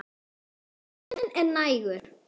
Og tíminn er nægur.